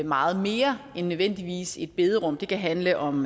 meget mere end nødvendigvis et bederum det kan handle om